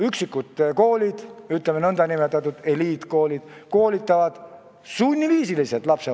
Üksikud koolid, nn eliitkoolid, koolitavad lapsevanemaid sunniviisiliselt.